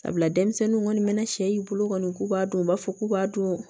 Sabula denmisɛnninw kɔni mana sɛ i bolo kɔni k'u b'a dun u b'a fɔ k'u b'a dun